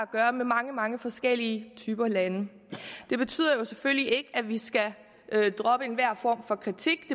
gøre med mange mange forskellige typer af lande det betyder selvfølgelig ikke at vi skal droppe enhver form for kritik